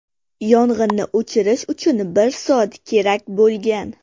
Yong‘inni o‘chirish uchun bir soat kerak bo‘lgan.